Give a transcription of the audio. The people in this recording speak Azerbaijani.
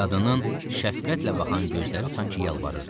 Qadının şəfqətlə baxan gözləri sanki yalvarırdı.